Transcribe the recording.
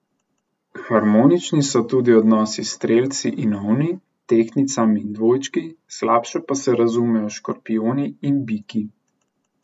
Harmonični so tudi odnosi s strelci in ovni, tehtnicami in dvojčki, slabše pa se razumejo s škorpijoni in biki.